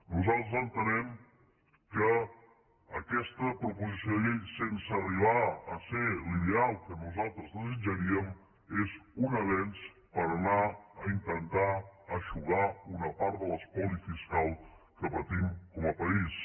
nosaltres entenem que aquesta proposició de llei sense arribar a ser la ideal que nosaltres desitjaríem és un avenç per anar a intentar eixugar una part de l’espoli fiscal que patim com a país